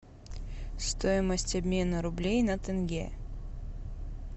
стоимость обмена рублей на тенге